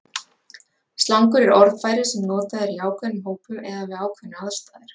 slangur er orðfæri sem notað er í ákveðnum hópum eða við ákveðnar aðstæður